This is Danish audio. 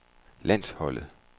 landsholdet